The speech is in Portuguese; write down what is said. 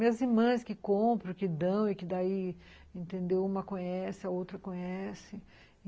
Minhas irmãs que compram, que dão e que daí, entendeu, uma conhece, a outra conhece.